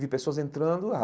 Vi pessoas entrando.